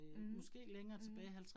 Mh mh